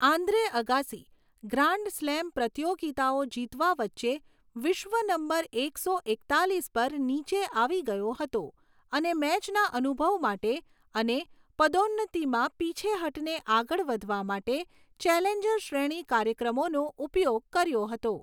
Andre Agassi, grand slam પ્રતિયોગિતાઓ જીતવા વચ્ચે, વિશ્વ નંબર એકસો એકતાલીસ પર નીચે આવી ગયો હતો અને મેચના અનુભવ માટે અને પદોન્નતિમાં પીછેહઠને આગળ વધવા માટે ચેલેન્જર શ્રેણી કાર્યક્રમોનો ઉપયોગ કર્યો હતો.